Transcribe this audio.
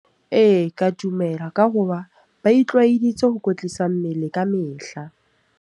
Ee, ka dumela ka hoba ba itlwaeditse ho kwetlisa mmele kamehla.